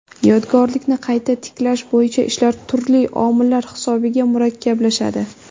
Yodgorlikni qayta tiklash bo‘yicha ishlar turli omillar hisobiga murakkablashadi.